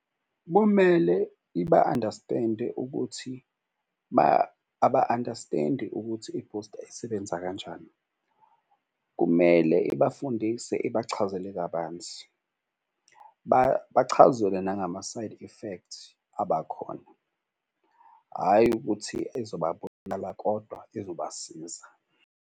Kumele iba-understand-e ukuthi aba-understand-i ukuthi ibhusta isebenza kanjani. Kumele ibafundise ibachazele kabanzi, bachazelwe nangama-side effect abakhona. Hhayi ukuthi izobabulala kodwa izobasiza.